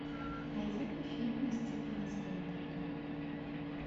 найди мне фильмы стивена спилберга